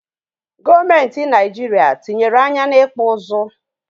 Gọọmentị naịjiria tinyere anya n'ịkpụ ụzụ.